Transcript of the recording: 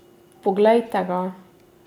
Poglejte ga.